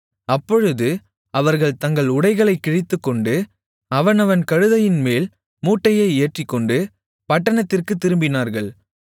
அப்பொழுது அவர்கள் தங்கள் உடைகளைக் கிழித்துக்கொண்டு அவனவன் கழுதையின்மேல் மூட்டையை ஏற்றிக்கொண்டு பட்டணத்திற்குத் திரும்பினார்கள்